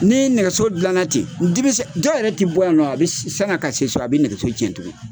Ni nɛgɛso dila ten , diminsɛ dɔw yɛrɛ tɛ bɔ yan nɔ sani a ka se so, a bɛ nɛgɛso cɛn tuguni!